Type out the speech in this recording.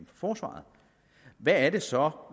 forsvaret hvad er det så